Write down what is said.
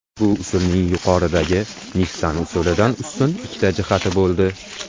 Bu usulning yuqoridagi Nissan usulidan ustun ikkita jihati bo‘ldi.